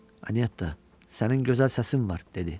Anya, sənin gözəl səsin var, dedi.